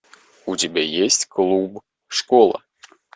у тебя есть клуб школа